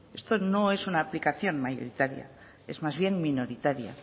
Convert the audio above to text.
esto no es una aplicación mayoritaria es más bien minoritaria